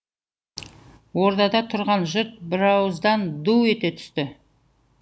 ордада тұрған жұрт бірауыздан ду ете түсті